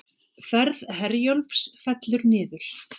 Ferð Herjólfs fellur niður